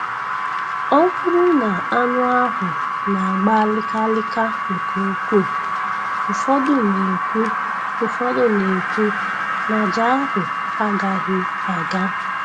Ọ bụrụ na anụ ahụ na-agba lịka lịka nke ukwuu, ụfọdụ na-ekwu ụfọdụ na-ekwu na aja ahụ agaghị aga.